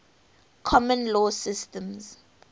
common law systems